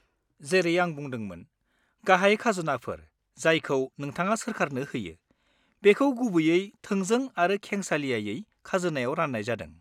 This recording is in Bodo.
जेरै आं बुंदोंमोन, गाहाय खाजोनाफोर जायखौ नोंथाङा सोरखारनो होयो, बेखौ गुबैयै थोंजों आरो खेंसालियायै खाजोनायाव रान्नाय जादों।